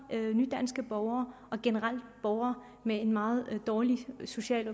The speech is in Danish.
nydanske borgere og generelt borgere med en meget dårlig social og